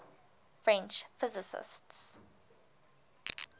french physicists